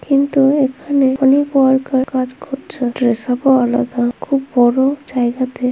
কিন্তু এখানে অনেক ওয়ার্কার কাজ করছে ড্রেসাপ -ও আলাদা খুব বড়ো জায়গা তে।